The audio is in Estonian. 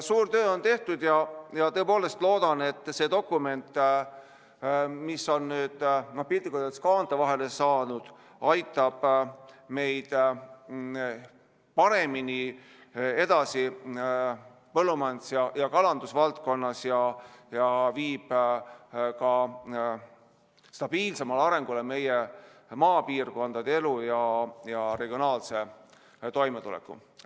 Suur töö on tehtud ja tõepoolest loodan, et see dokument, mis on nüüd piltlikult öeldes kaante vahele saanud, aitab meid paremini edasi põllumajanduse ja kalanduse valdkonnas ja viib ka stabiilsemale arengule meie maapiirkondade elu ja regionaalse toimetuleku.